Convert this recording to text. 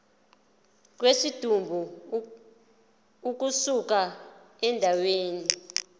kwesidumbu ukusuka endaweni